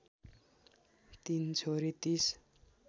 तीन छोरी ३०